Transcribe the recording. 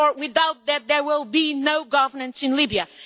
Without that there will be no governance in Libya.